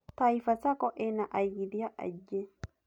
Taifa Sacco ĩna aigithia aingĩ.